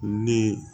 Ni